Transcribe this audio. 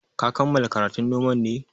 Ka kammala karatun noman ne?